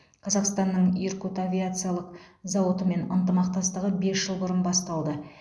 қазақстанның иркут авиациялық зауытымен ынтымақтастығы бес жыл бұрын басталды